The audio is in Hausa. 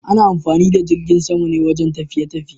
Ana amfani da jirgin sama ne wajen tafiye-tafiye.